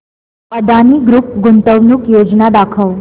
Adani group गुंतवणूक योजना दाखव